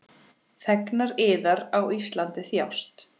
Þegnar yðar á Íslandi þjást.